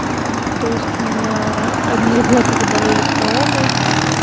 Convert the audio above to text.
то есть у меня одни ребята заболели короной